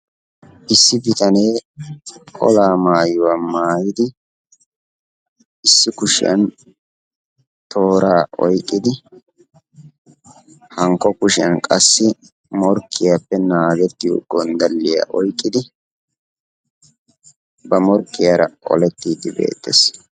Issi bitanee olaa maayuwa maayidi issi kushiyan tooraa oyqqidi hankko kushiyan qassi morkkiyappe naagettiyo gonddalliya oyqqidi ba morkkiyara olettiiddi beettes.